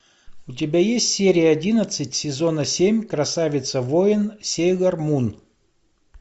у тебя есть серия одиннадцать сезона семь красавица воин сейлор мун